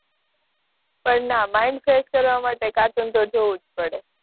પણ ના mind fresh કરવાં તો કાર્ટૂન જોવું જ પડે